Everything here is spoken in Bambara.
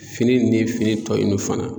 Fini nin fini tɔ non fana